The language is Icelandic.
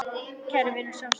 Kæra vina, sjáumst síðar.